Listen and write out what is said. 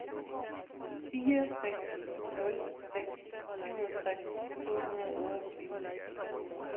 fire seks nul seks syvogtres to hundrede og otteogtyve